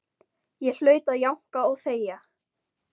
Ég hlaut að jánka og þegja.